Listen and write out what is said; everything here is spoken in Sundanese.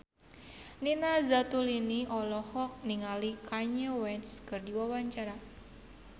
Nina Zatulini olohok ningali Kanye West keur diwawancara